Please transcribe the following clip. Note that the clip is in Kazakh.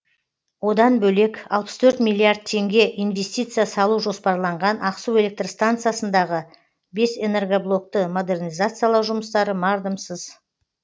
одан бөлек алпыс торт миллиард теңге инвестиция салу жоспарланған ақсу электр станциясындағы бес энергоблокты модернизациялау жұмыстары мардымсыз